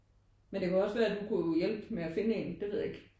Men det kan jo også være at du kunne hjælpe med at finde en? Det ved jeg ikke